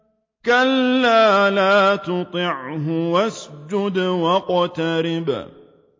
كَلَّا لَا تُطِعْهُ وَاسْجُدْ وَاقْتَرِب ۩